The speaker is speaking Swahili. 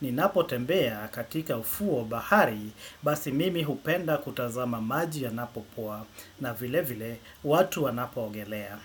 Ninapotembea katika ufuo wa bahari basi mimi hupenda kutazama maji yanapopoa na vile vile watu wanapoogelea.